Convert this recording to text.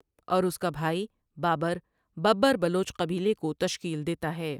اور اس کا بھائی بابر ببر بلوچ قبیلے کو تشکیل دیتا ہے ۔